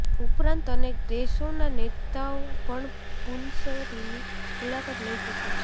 ઉપરાંત અનેક દેશોના નેતાઓ પણ પુંસરીની મુલાકાત લઇ ચુક્યા છે